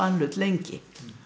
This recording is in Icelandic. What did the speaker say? hlut lengi